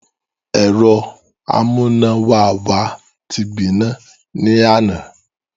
Ẹ̀rọ amúnáwá wa ti gbiná. ní àná.